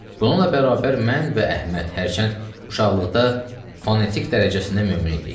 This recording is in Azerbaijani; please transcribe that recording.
Bununla bərabər, mən və Əhməd, hərçənd uşaqlıqda fonetik dərəcəsində mömin idik.